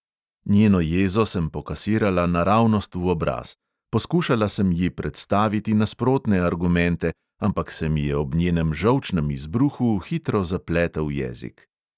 Njeno jezo sem pokasirala naravnost v obraz, poskušala sem ji predstaviti nasprotne argumente, ampak se mi je ob njenem žolčnem izbruhu hitro zapletel jezik.